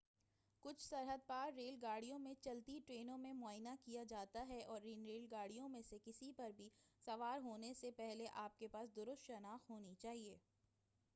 کچھ سرحد پار ریل گاڑیوں میں چلتی ٹرین میں معائنہ کیا جاتا ہے اور ان ریل گاڑیوں میں سے کسی پر بھی سوار ہونے سے پہلے آپ کے پاس درست شناخت ہونی چاہئے